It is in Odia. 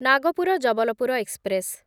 ନାଗପୁର ଜବଲପୁର ଏକ୍ସପ୍ରେସ୍